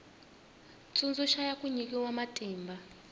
tsundzuxa ya ku nyikiwa matimba